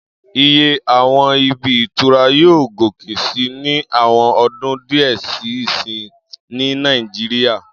Iye àwọn ibi ìtura yóò gòkè sí ní àwọn ọdún díẹ̀ sí ìsín ní Nàìjíríyà